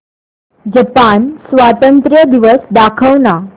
Japan स्वातंत्र्य दिवस दाखव ना